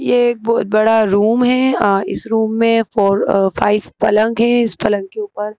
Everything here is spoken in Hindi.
ये एक बहुत बड़ा रूम है अ इस रूम में फोर फाइव पलंग हैं इस पलंग के ऊपर--